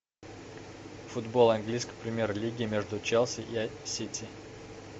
футбол английской премьер лиги между челси и сити